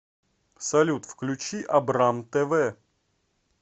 салют включи абрам тэ вэ